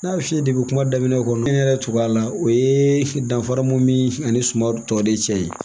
N y'a f'i ye depi kuma daminɛ kɔni ne yɛrɛ tugu a la o ye danfara mun bɛ ani suman tɔ de cɛ ye